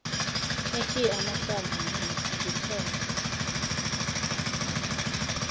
nikhiye amasango ngithenge